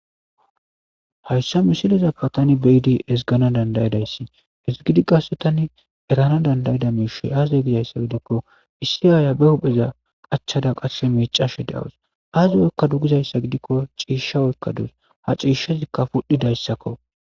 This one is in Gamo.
Hayisa misileza bollan tan ba'ada esiganawu danidaizays tani qasi eranawu danidaizays azegidaysa gidiko issi aya qachada qasi micashe de'awus azi oyikadegizayisagidiko cisha oyikadus ha cishazika pudhidayisako